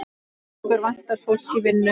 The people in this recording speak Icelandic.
Okkur vantar fólk í vinnu.